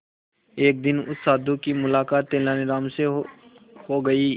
एक दिन उस साधु की मुलाकात तेनालीराम से हो गई